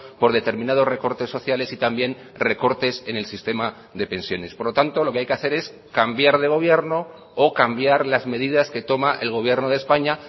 por determinados recortes sociales y también recortes en el sistema de pensiones por lo tanto lo que hay que hacer es cambiar de gobierno o cambiar las medidas que toma el gobierno de españa